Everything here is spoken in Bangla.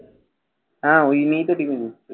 হ্যাঁ, ওই নিয়েই তো